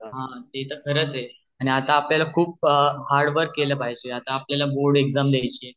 हा ते तर `खरच आहे आता आपल्याला एकदम हार्ड वर्क केल पाहिजे आता आपल्याला बोर्ड एग्जाम द्याची आहे.